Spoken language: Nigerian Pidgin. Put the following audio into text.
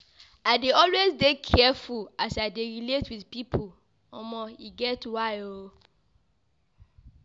I dey always dey careful as I dey relate wit pipo, omo e get why o.